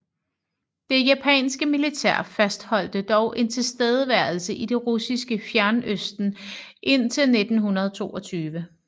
Det japanske militær fastholdte dog en tilstedeværelse i det russiske fjernøsten indtil 1922